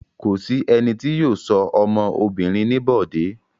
Kò sí ẹni tí yóò sọ ọmọ obìnrin ní Bọ̀dé.